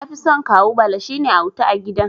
Nafison Kawu Bala, shine auta a gidan.